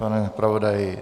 Pane zpravodaji?